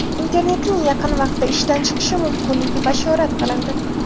Internetning yaqin vaqtda ishdan chiqishi mumkinligi bashorat qilindi.